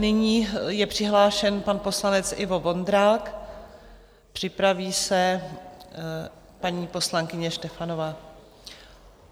Nyní je přihlášen pan poslanec Ivo Vondrák, připraví se paní poslankyně Štefanová.